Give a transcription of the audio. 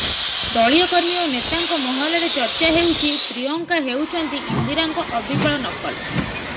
ଦଳୀୟ କର୍ମୀ ଓ ନେତାଙ୍କ ମହଲରେ ଚର୍ଚ୍ଚା ହେଉଛି ପ୍ରିୟଙ୍କା ହେଉଛନ୍ତି ଇନ୍ଦିରାଙ୍କ ଅବିକଳ ନକଲ